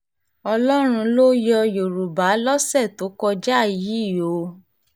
ọlọ́run ló yọ yorùbá lọ́sẹ̀ tó kọjá yìí o